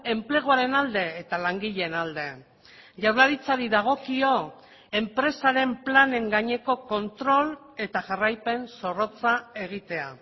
enpleguaren alde eta langileen alde jaurlaritzari dagokio enpresaren planen gaineko kontrol eta jarraipen zorrotza egitea